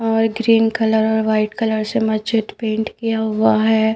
और green colour और white colour से मस्जिद पेंट किया हुआ है।